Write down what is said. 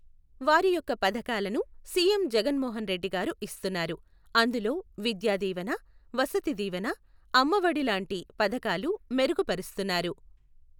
వారి యొక్క పథకాలను సీఎం జగన్ మోహన్ రెడ్డి గారు ఇస్తున్నారు. అందులో విద్యాదీవన, వసతిదీవన, అమ్మఒడి లాంటి పథకాలు మెరుగుపరుస్తున్నారు.